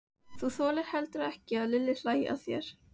Þú þolir heldur ekki að Lilli hlæi að þér.